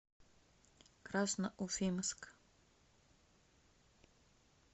красноуфимск